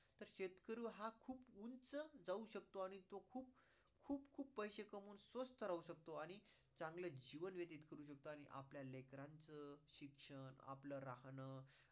जाऊ शकतो आणि तो खूप खूप पैशे कमवून स्वस्थ राहू शकतो आणि चांगले जीवन व्यतीत करू शकतो आणि आपल्या लेकरांच शिक्षण, आपल राहणं